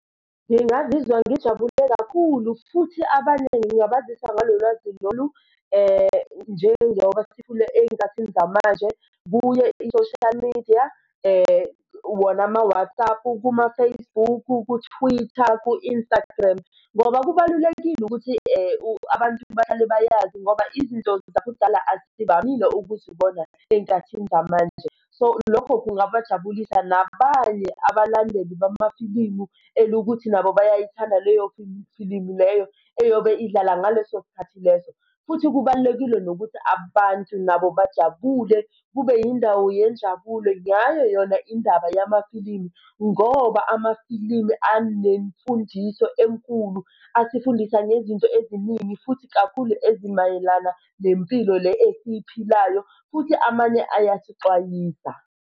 Ngingazizwa ngijabule kakhulu futhi abaningi ngingabazisa ngalo lwazi lolu njengoba sekhula ey'nkathini zamanje kuye i-social media wona ama-Whatsapp-u, kuma-Facebook-u, ku-Twitter, ku-Instagram. Ngoba kubalulekile ukuthi abantu bahlale bayazi ngoba izinto zakudala azivamile ukuzibona ey'khathini zamanje. So lokho kungajabulisa nabanye abalandeli bamafilimu elokuthi nabo bayayithanda leyo filimu leyo eyobe idlala ngaleso sikhathi leso. Futhi kubalulekile nokuthi abantu nabo bajabule kube indawo yenjabulo ngayo yona indaba yamafilimu ngoba amafilimu anemfundiso enkulu asifundisa ngezinto eziningi futhi kakhulu ezimayelana nempilo le esiyiphilayo, futhi amanye ayasixwayisa.